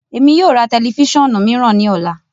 Emi yoo ra tẹlifisiọnu miiran ni ọla.